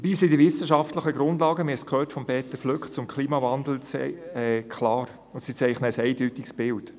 Dabei zeichnen die wissenschaftlichen Grundlagen zum Klimawandel – wir haben es von Peter Flück gehört – ein eindeutiges Bild.